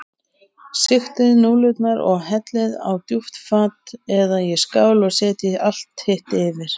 Sigtið núðlurnar og hellið á djúpt fat eða í skál og setjið allt hitt yfir.